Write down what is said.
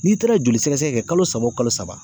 N'i taara joli sɛgɛsɛgɛ kɛ kalo saba o kalo saba